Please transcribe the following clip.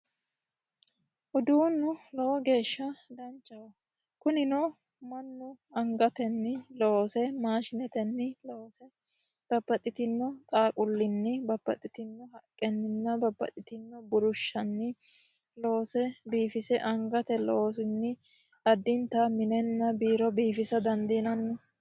Uduunnu lowo geeshsha danchaho. Kunino mannu angatenni, mashinetenni, babbaxitino xaawulinni, haqqenninna burushshanni loose biifise angate loosinni addinta minenna biiro biifisa dandiinanni.